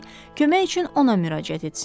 kömək üçün ona müraciət etsinlər.